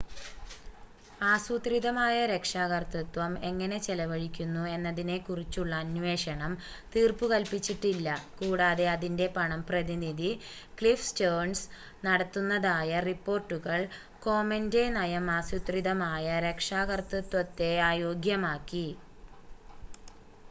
ആസൂത്രിതമായ രക്ഷാകർതൃത്വം എങ്ങനെ ചെലവഴിക്കുന്നു എന്നതിനെക്കുറിച്ചുള്ള അന്വേഷണം തീർപ്പുകൽപ്പിച്ചിട്ടില്ല കൂടാതെ അതിൻ്റെ പണം പ്രതിനിധി ക്ലിഫ് സ്റ്റേൺസ് നടത്തുന്നതായ റിപ്പോർട്ടുകൾ കോമെൻ്റെ നയം ആസൂത്രിതമായ രക്ഷാകർതൃത്വത്തെ അയോഗ്യമാക്കി